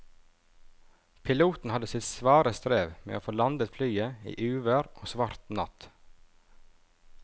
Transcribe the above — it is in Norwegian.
Piloten hadde sitt svare strev med å få landet flyet i uvær og svart natt.